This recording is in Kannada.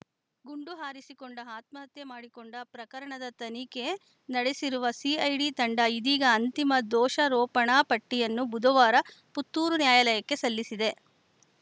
ಗುಂಡು ಹಾರಿಸಿಕೊಂಡು ಆತ್ಮಹತ್ಯೆ ಮಾಡಿಕೊಂಡ ಪ್ರಕರಣದ ತನಿಖೆ ನಡೆಸಿರುವ ಸಿಐಡಿ ತಂಡ ಇದೀಗ ಅಂತಿಮ ದೋಷರೋಪಣಾ ಪಟ್ಟಿಯನ್ನು ಬುಧವಾರ ಪುತ್ತೂರು ನ್ಯಾಯಾಲಯಕ್ಕೆ ಸಲ್ಲಿಸಿದೆ